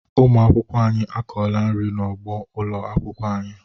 Ụmụ akwụkwọ anyị akọọla nri n'ugbo ụlọ akwụkwọ anyị.